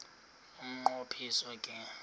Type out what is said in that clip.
umnqo phiso ke